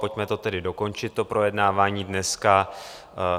Pojďme to tedy dokončit, to projednávání dneska.